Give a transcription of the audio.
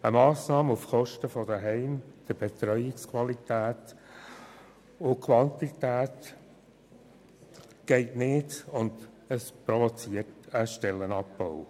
Eine Massnahme auf Kosten der Betreuungsqualität und -quantität in Heimen geht nicht an und provoziert einen Stellenabbau.